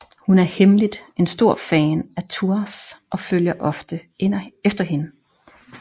Hun er hemmeligt en stor fan af Thouars og følger ofte efter hende